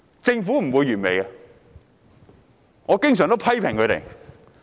政府不會是完美的，我也經常批評政府。